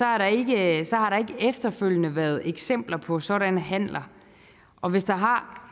har der ikke efterfølgende været eksempler på sådanne handler og hvis der har har